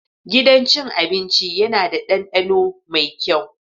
Gidan cin abinci yana da ɗandano mai kyau.